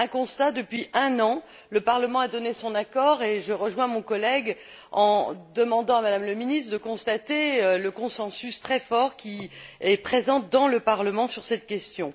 Un constat depuis un an, le Parlement a donné son accord, et je rejoins mon collègue en demandant à Mme la ministre de constater le consensus très fort qui est présent dans le Parlement sur cette question.